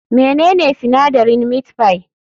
Menene sinadarin meat pie?